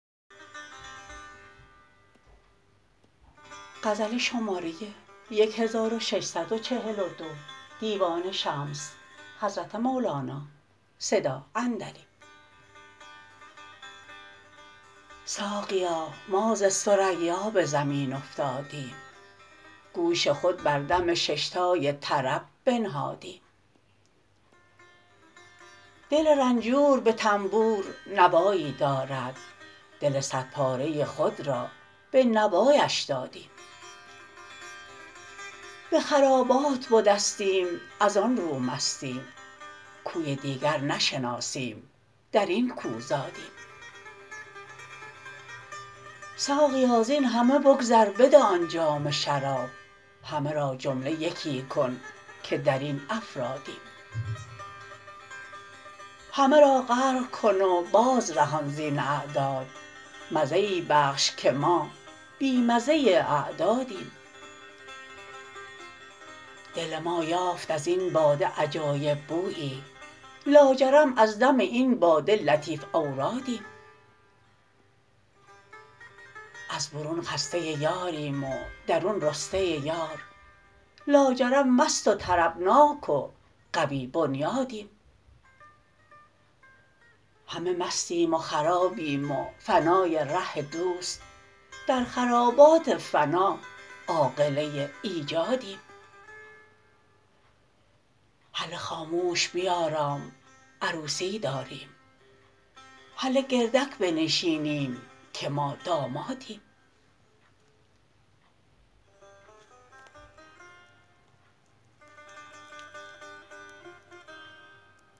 ساقیا ما ز ثریا به زمین افتادیم گوش خود بر دم شش تای طرب بنهادیم دل رنجور به طنبور نوایی دارد دل صدپاره خود را به نوایش دادیم به خرابات بدستیم از آن رو مستیم کوی دیگر نشناسیم در این کو زادیم ساقیا زین همه بگذر بده آن جام شراب همه را جمله یکی کن که در این افرادیم همه را غرق کن و بازرهان زین اعداد مزه ای بخش که ما بی مزه اعدادیم دل ما یافت از این باده عجایب بویی لاجرم از دم این باده لطیف اورادیم از برون خسته یاریم و درون رسته یار لاجرم مست و طربناک و قوی بنیادیم همه مستیم و خرابیم و فنای ره دوست در خرابات فنا عاقله ایجادیم هله خاموش بیارام عروسی داریم هله گردک بنشینیم که ما دامادیم